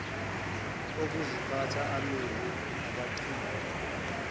okuziphatha amile abagcini